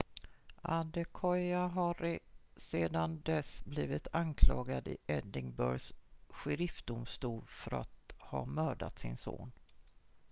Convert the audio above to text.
adekoya har sedan dess blivit anklagad i edinburghs sheriffdomstol för att ha mördat sin son